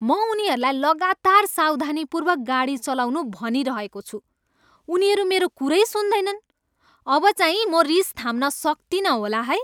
म उनीहरूलाई लगातार सावधानीपूर्वक गाडी चलाउनु भनिरहेको छु, उनीहरू मेरो कुरै सुन्दैनन्। अबचाहिँ म रिस थाम्न सक्तिनँ होला है!